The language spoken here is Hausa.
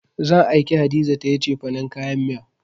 Zan aike Hadiza ta yi cefanen kayan miya.